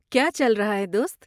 کیا چل رہا ہے دوست؟